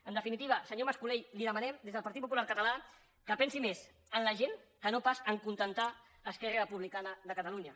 en definitiva senyor mas colell li demanem des del partit popular català que pensi més en la gent que no pas a acontentar esquerra republicana de catalunya